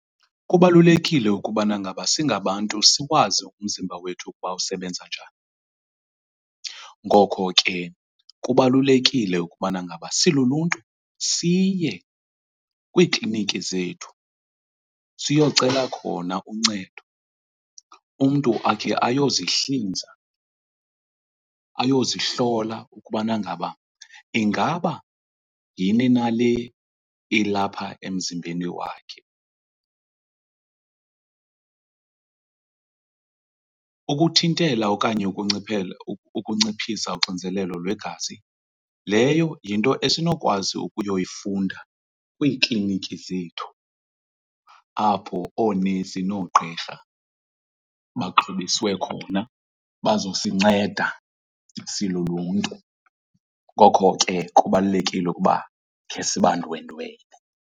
Kubalulekile ukubana ngaba singabantu siwazi umzimba wethu ukuba usebenza njani. Ngoko ke kubalulekile ukubana ngaba siluluntu siye kwiikliniki zethu siyocela khona uncedo, umntu akhe ayozihlinza ayozihlola ukubana ngaba ingaba yini nale ilapha emzimbeni wakhe. Ukuthintela okanye ukunciphisa uxinzelelo lwegazi leyo yinto esinokwazi ukuyoyifunda kwiikliniki zethu apho oonesi noogqirha baxhobiswe khona bazosinceda siluluntu, ngoko ke kubalulekile ukuba khe sibandwendwele.